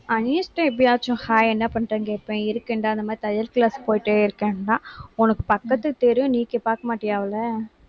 அனிஷா எப்பயாச்சும், hi என்ன பண்றேன்னு, கேட்பேன். இருக்கேன்டா இந்த மாதிரி தையல் class போயிட்டே இருக்கேன்னான். உனக்கு பக்கத்து தெரு நீ இங்கே பார்க்க மாட்டியா, அவளை